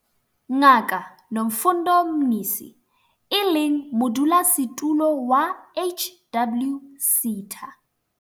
Ngaka Nomfundo Mnisi, e leng Modulasetulo wa HWSETA.